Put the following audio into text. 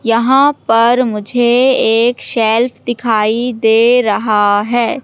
यहां पर मुझे एक शेल्फ दिखाई दे रहा है।